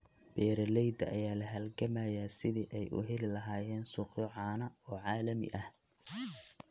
Beeralayda ayaa la halgamaya sidii ay u heli lahaayeen suuqyo caano oo caalami ah.